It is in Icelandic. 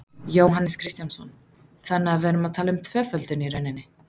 Jóhannes Kristjánsson: Þannig að við erum að tala um tvöföldun í rauninni?